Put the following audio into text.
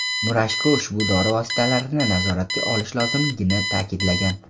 Murashko ushbu dori vositalarini nazoratga olish lozimligini ta’kidlagan.